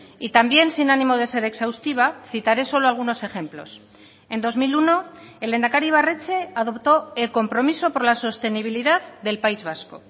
y también sin ánimo de ser exhaustiva citaré solo algunos ejemplos en dos mil uno el lehendakari ibarretxe adoptó el compromiso por la sostenibilidad del país vasco